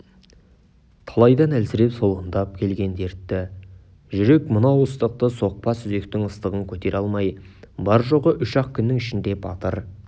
талайдан әлсіреп солғындап келген дертті жүрек мынау ыстықты соқпа сүзектің ыстығын көтере алмай бар-жоғы үш-ақ күннің ішінде батыр